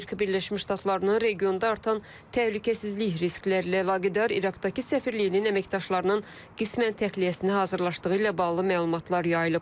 Amerika Birləşmiş Ştatlarının regionda artan təhlükəsizlik risklərlə əlaqədar İraqdakı səfirliyinin əməkdaşlarının qismən təxliyəsinə hazırlaşdığı ilə bağlı məlumatlar yayılıb.